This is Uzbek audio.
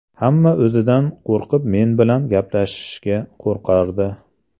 Hamma o‘zidan qo‘rqib men bilan gaplashishga qo‘rqardi.